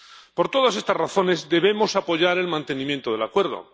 Por todas estas razones, debemos apoyar el mantenimiento del acuerdo.